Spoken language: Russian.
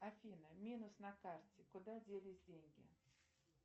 афина минус на карте куда делись деньги